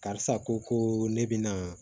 Karisa ko ko ne bɛna